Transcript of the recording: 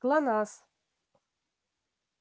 глонассс